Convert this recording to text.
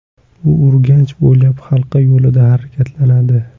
U Urganch bo‘ylab halqa yo‘lida harakatlanadi.